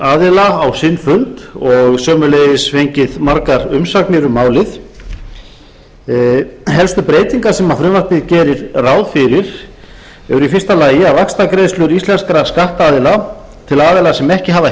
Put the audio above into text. aðila á sinn fund og sömuleiðis fengið margar umsagnir um málið helstu breytingar sem frumvarpið gerir ráð fyrir eru fyrstu að vaxtagreiðslur íslenskra skattaðila til aðila sem ekki hafa